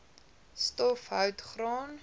stof hout graan